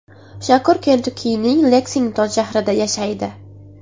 Shakur Kentukkining Leksington shahrida yashaydi.